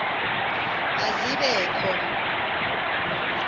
ma zibe kho